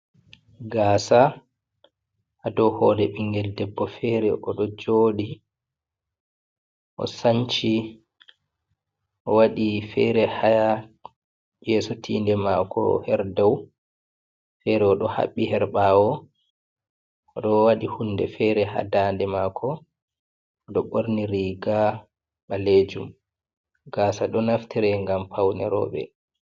Gasa hadow hore ɓingel debbo fere, oɗo joɗi o sanci owaɗi fere ha yeso tinde mako herdow, fere oɗo haɓɓi her ɓawo ɗo waɗi hunde fere ha dande mako, oɗo ɓorni riga ɓalejum gasa ɗo naftire gam paune roɓe.